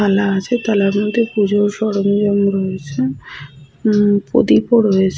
থালা আছে থালার মধ্যে পুজোর সরঞ্জাম রয়েছে হম প্রদীপও রয়েছে ।